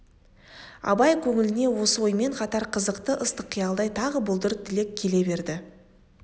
абай көңіліне осы оймен қатар қызықты ыстық қиялдай тағы бұлдыр тілек келе берді